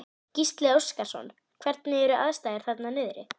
Gísli Óskarsson: Hvernig eru aðstæður þarna niðri?